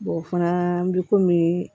o fana bɛ komi